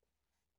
TV 2